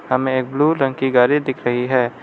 हमें एक ब्लू रंग की गाड़ी दिख रही है।